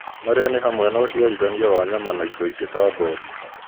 marĩa nĩ hamwe na ũciarithania wa nyama na indo ingĩ ta ngothi.